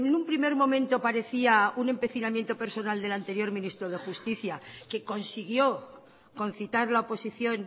un primer momento parecía un empecinamiento personal den anterior ministro de justicia que consiguió concitar la oposición